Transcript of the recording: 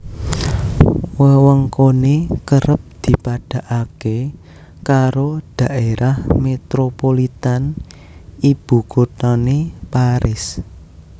Wewengkoné kerep dipadhakké karo dhaerah metropolitan ibukuthané Paris